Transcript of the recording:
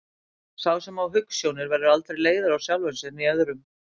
Sá sem á hugsjónir verður aldrei leiður á sjálfum sér né öðrum.